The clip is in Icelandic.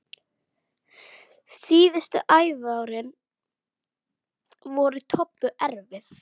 Síðustu æviárin voru Tobbu erfið.